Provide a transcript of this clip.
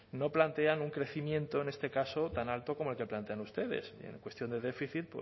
no plantean un crecimiento en este caso tan alto como el que plantean ustedes y en cuestión de déficit